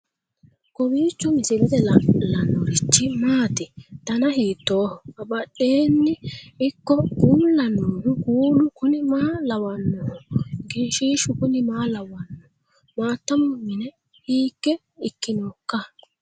kowiicho misilete leellanorichi maati ? dana hiittooho ?abadhhenni ikko uulla noohu kuulu kuni maa lawannoho? egenshshiishu kuni maa lawanno maaatamu mine hiikke ikkinoikka